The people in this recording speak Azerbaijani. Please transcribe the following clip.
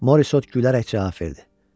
Morisod gülərək cavab verdi.